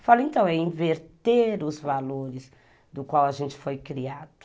Eu falei, então, é inverter os valores do qual a gente foi criado.